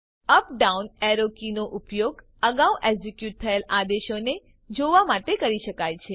up down arrow કીનો ઉપયોગ અગાઉ એક્ઝિક્યુટ થયેલ આદેશોને જોવા માટે કરી શકાય છે